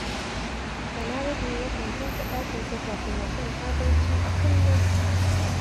Ya kamata kowa ya yi ƙoƙari ya san haƙƙoƙin maƙwabtaka.